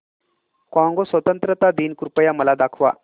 Congo स्वतंत्रता दिन कृपया मला दाखवा